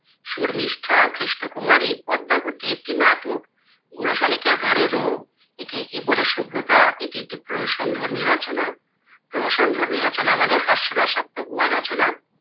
শর্মিষ্ঠা, কৃষ্ণকুমারী, পদ্মাবতী একটি নাটক। বুড়ো শালিকের ঘাড়ে রোঁ, একেই কি বলে সভ্যতা? , এটি একটি প্রহসন ধর্মী রচনা। প্রহসন ধর্মী রচনা মানে হাস্যরসাক্তময় রচনা।